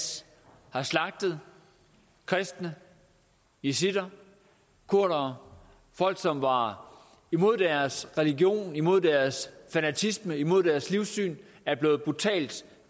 har slagtet kristne yazidier kurdere folk som var imod deres religion imod deres fanatisme imod deres livssyn er blevet brutalt